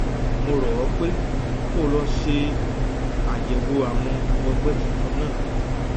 mo rọ ọ pé kó o lọ ṣe àyẹwò àwọn ọgbẹ tuntun náà